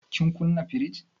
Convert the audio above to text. Kin kuna firij?